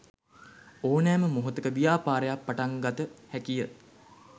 ඕනෑම මොහොතක ව්‍යාපාරයක් පටන්ගත හැකිය.